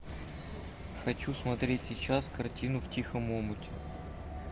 хочу смотреть сейчас картину в тихом омуте